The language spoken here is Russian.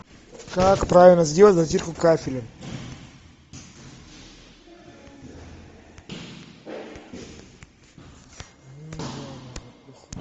как правильно сделать затирку кафеля